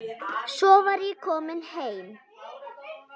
Svo var ég komin heim.